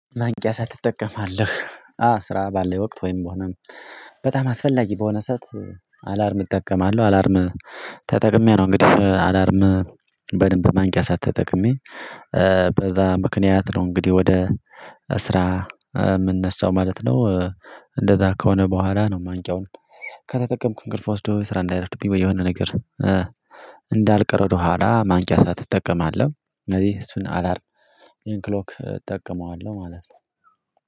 ማንቂያ ሰዓት ትጠቀማለህ? አ ስራ ባለ ወቅት ወይም ሆነ በጣም አስፈላጊ በሆነ ሰዓት አላርም እጠቀማለሁ አላርም ተጠቅሜ ነው እንግዲህ አላርም በደንብ ማንቂያ ሰዓት ተጠቅሜ በዛ ምክንያት ነው እንግዲህ ወደ ስራ ምነሳው ማለት ነው እንደዛ ከሆነ በኋላ ነው ማንቂያውን ከተጠቀምኩ እንቅልፍ ወስዶ ስራ እንዳይረፍድብኝ ወይ የሆነ ነገር እንዳልቀር ወደኋላ ማንቂያ ሰዓት እጠቀማለሁ እነዚህ እሱን አላርም ክሎክ እጠቀመዋለሁ ማለት ነው።